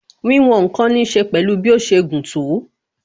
Wíwòn ǹkan ní ṣe pẹ̀lú bí ó ṣe gùn tó